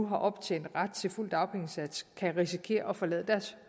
har optjent ret til fuld dagpengesats kan risikere at forlade deres